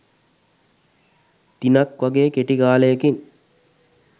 දිනක් වගේ කෙටි කාලයකින්.